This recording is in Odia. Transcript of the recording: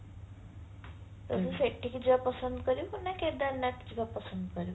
ତୁ ସେଠିକି ଯିବା ପସନ୍ଦ କରିବୁ ନା କେଦାରନାଥ ଯିବା ପସନ୍ଦ କରିବୁ